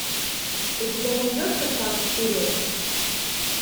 у тебя найдется шаг вперед